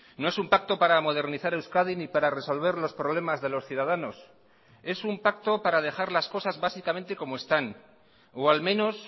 no es un pacto para modernizar euskadi ni para resolver los problemas de los ciudadanos es un pacto para dejar las cosas básicamente como están o al menos